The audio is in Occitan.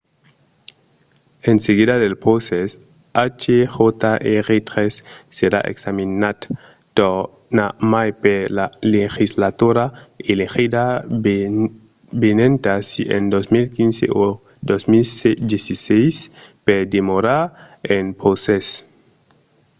en seguida del procès hjr-3 serà examinat tornarmai per la legislatura elegida venenta si en 2015 o 2016 per demorar en procès